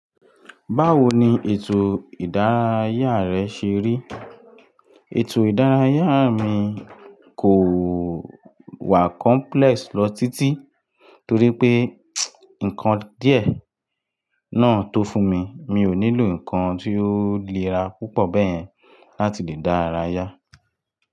Báwo ni ètò ìdárayá rẹ ṣe rí? Ètò ìdárayá mi kò wà complex lọ títí torí pé nǹkan díẹ̀ náà tó fún mi, mi ò nílò nǹkan tí ó le ra púpọ̀ bẹ́yẹn láti lè dára yá.